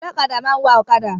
Ọlọ́kadà máa ń wà ọ̀kadà.